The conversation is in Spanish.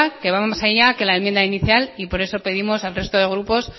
que va más allá que la enmienda inicial y por eso pedimos al resto de grupos